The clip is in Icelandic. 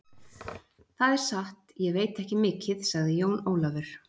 Það er satt, ég veit ekki mikið, sagði Jón Ólafur.